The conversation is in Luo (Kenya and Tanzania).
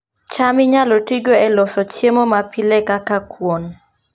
cham inyalo tigo e loso chiemo mapile kaka kuon